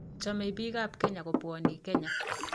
Chomei biikab kenya kobwonii Kenya.